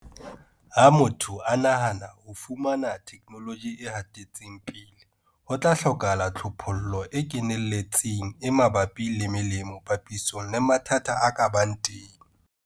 Ha motho a nahana ho fumana theknoloji e hatetseng pele, ho tla hlokahala tlhophollo e keneletseng e mabapi le melemo papisong le mathata a ka bang teng.